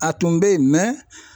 A tun bɛ yen mɛ